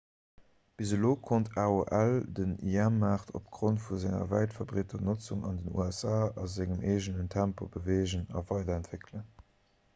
bis elo konnt aol den im-maart opgrond vu senger wäit verbreeter notzung an den usa a sengem eegenen tempo beweegen a weiderentwéckelen